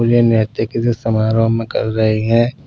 मुझे नहते के समारोह में कर रहे हैं।